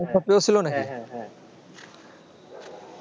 হ্যাঁ হ্যাঁ হ্যাঁ